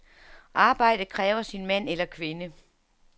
Arbejdet kræver sin mand eller kvinde.